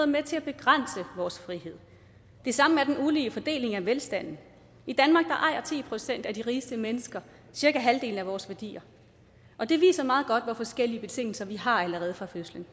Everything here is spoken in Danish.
med til at begrænse vores frihed det samme er den ulige fordeling af velstanden i danmark ejer ti procent af de rigeste mennesker cirka halvdelen af vores værdier og det viser meget godt hvor forskellige betingelser vi har allerede fra fødslen